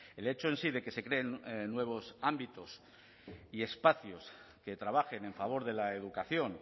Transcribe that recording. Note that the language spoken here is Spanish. el hecho en sí de que se creen nuevos ámbitos y espacios que trabajen en favor de la educación